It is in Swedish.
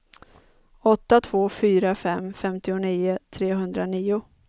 åtta två fyra fem femtionio trehundranio